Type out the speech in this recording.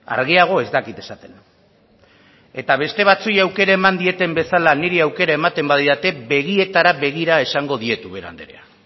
argiago ez dakit esaten eta beste batzuei aukera eman dieten bezala niri aukera ematen badidate begietara begira esango diet ubera andrea